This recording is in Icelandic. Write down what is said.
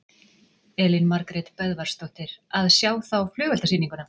Elín Margrét Böðvarsdóttir: Að sjá þá flugeldasýninguna?